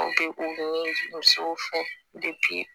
musow fɔ